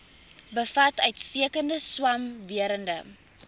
bevat uitstekende swamwerende